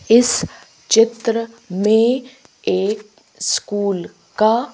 इस चित्र में एक स्कूल का--